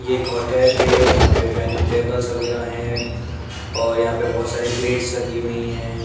ये एक होटल है। यहाँ पे डायनिंग टेबल्स वगैरा हैं और यहाँ पे बहोत सारी प्लेट्स लगी हुई हैं।